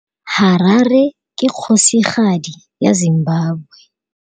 Harare ke kgosigadi ya Zimbabwe.